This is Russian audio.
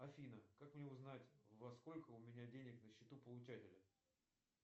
афина как мне узнать во сколько у меня денег на счету получателя